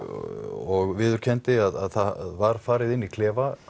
og viðurkenndi að það var farið inn í klefa